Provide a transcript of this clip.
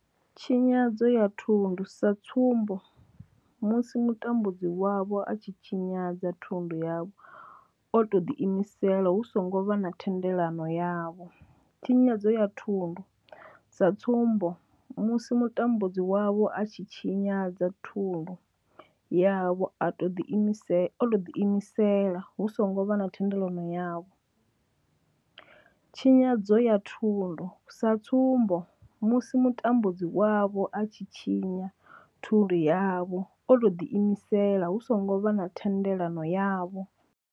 Tshinyadzo ya thundu sa tsumbo, musi mutambudzi wavho a tshi tshinyadza thundu yavho o tou ḓi imisela hu songo vha na thendelo yavho. Tshinyadzo ya thundu sa tsumbo, musi mutambudzi wavho a tshi tshinyadza thundu yavho o tou ḓi imisela hu songo vha na thendelo yavho. Tshinyadzo ya thundu sa tsumbo, musi mutambudzi wavho a tshi tshinyadza thundu yavho o tou ḓiimisela hu songo vha na thendelo yavho.